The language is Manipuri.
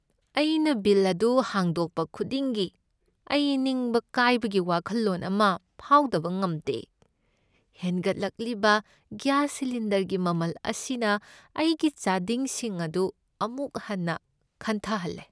ꯑꯩꯅ ꯕꯤꯜ ꯑꯗꯨ ꯍꯥꯡꯗꯣꯛꯄ ꯈꯨꯗꯤꯡꯒꯤ, ꯑꯩ ꯅꯤꯡꯕ ꯀꯥꯏꯕꯒꯤ ꯋꯥꯈꯜꯂꯣꯟ ꯑꯃ ꯐꯥꯎꯗꯕ ꯉꯝꯗꯦ꯫ ꯍꯦꯟꯒꯠꯂꯛꯂꯤꯕ ꯒ꯭ꯌꯥꯁ ꯁꯤꯂꯤꯟꯗꯔꯒꯤ ꯃꯃꯜ ꯑꯁꯤꯅ ꯑꯩꯒꯤ ꯆꯥꯗꯤꯡꯁꯤꯡ ꯑꯗꯨ ꯑꯃꯨꯛ ꯍꯟꯅ ꯈꯟꯊꯍꯜꯂꯦ꯫